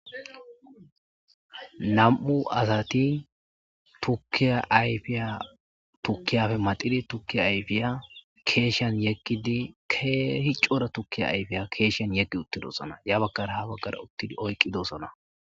nam'u asati tukiya ayfiya tukiya maxidi tukiya ayfiya keeshan yeqqidi kehi cora tukkiya ayfiya keeshshen yeegi uttidosana ya bagkara ha baggar uttidi oyqqidosana